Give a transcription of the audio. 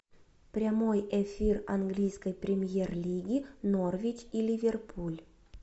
прямой эфир английской премьер лиги норвич и ливерпуль